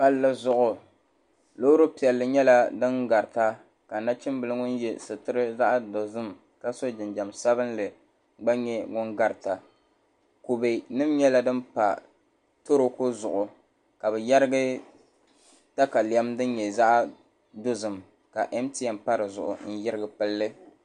Palli zuɣu loori nim nyɛla din garita ka nachimbili ŋun yɛ sitirili zaɣ dozim ka so jinjɛm sabinli gba nyɛ ŋun garita kubɛ nim nyɛla din pa toroku zuɣu ka bi yɛrigi katalɛm din nyɛ zaɣ dozim ka mtn pa dizuɣu n yirigi pilli